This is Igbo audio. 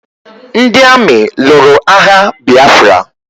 Ndị amị lụrụ agha Biafra